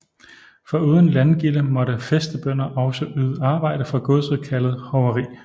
Foruden landgilde måtte fæstebønder også yde arbejde for godset kaldet hoveri